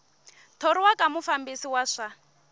thoriwa ka mufambisi wa swa